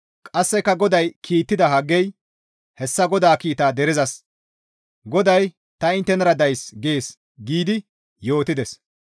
Qasseka GODAY kiittida Haggey hessa GODAA kiita derezas, «GODAY ta inttenara days» gees giidi yootides.